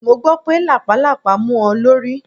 Mo gbọ́ pé lápàlàpá mú ọ lórí.